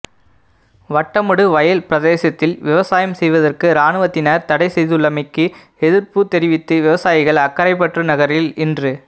வட்டமடு வயல் பிரதேசத்தில் விவசாயம் செய்வதற்கு இராணுவத்தினர் தடைசெய்துள்ளமைக்கு எதிர்ப்புத் தெரிவித்து விவசாயிகள் அக்கரைப்பற்று நகரில் இன்று